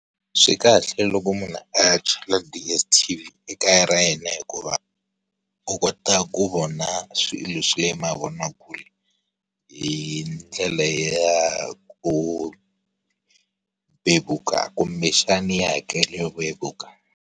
Swi kahle loko munhu a chela DSTV ekaya ra yena hikuva, u kota ku vona swilo leswi mavonakule, hi ndlela ya kumvevuka kumbe xani ya hakelo yo vevuka.